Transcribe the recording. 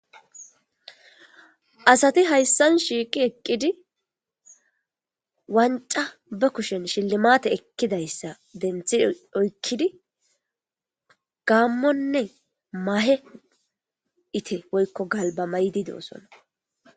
Asati hayssan shiiqi eqqidi wancca be kushen shillimaate ekkidayssa denthi oykkidi gaammonne mahe ite woykko galbba mayidi doosona.